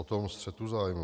O tom střetu zájmů.